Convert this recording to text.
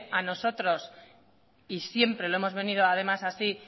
a nosotros y siempre lo hemos venido además así